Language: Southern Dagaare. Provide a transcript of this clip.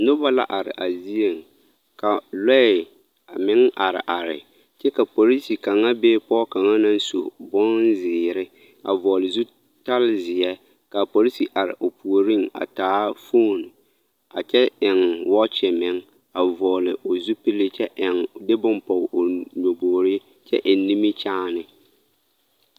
Noba la are a zieŋ ka lɔɛ a meŋ areare kyɛ ka polisi kaŋa be pɔɡe kaŋa naŋ su bonziiri a vɔɔle zutalzeɛ ka a polisi are o puoriŋ a taa foon a kyɛ eŋ wɔɔkyi meŋ a vɔɔle o zupili kyɛ de bone pɔɡe o nyɔboɡriŋ kyɛ eŋ nimikyaane.